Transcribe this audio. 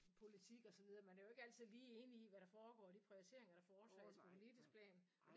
Politik og så videre man er jo ikke altid lige enige i hvad der foregår de prioriteringer der foretages på politisk plan